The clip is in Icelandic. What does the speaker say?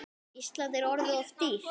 Ísland er orðið of dýrt.